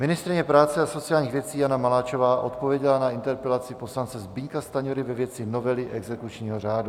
Ministryně práce a sociálních věcí Jana Maláčová odpověděla na interpelaci poslance Zbyňka Stanjury ve věci novely exekučního řádu.